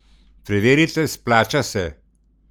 Preverite, splača se!